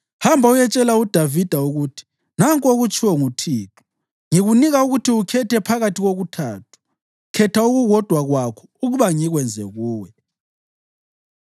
“Hamba uyetshela uDavida ukuthi, ‘Nanku okutshiwo nguThixo: Ngikunika ukuthi ukhethe phakathi kokuthathu. Khetha okukodwa kwakho ukuba ngikwenze kuwe.’ ”